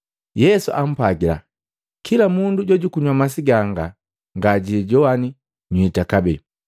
Yesu ampwagila. “Kila mundu jojukunywa masi ganga ngajilijowane nywita kabee,